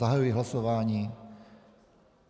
Zahajuji hlasování.